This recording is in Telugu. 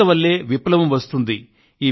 యువత వల్లే విప్లవం వస్తుంది